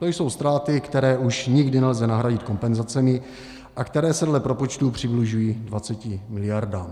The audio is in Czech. To jsou ztráty, které už nikdy nelze nahradit kompenzacemi a které se dle propočtů přibližují 20 miliardám.